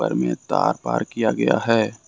में तार पार किया गया है।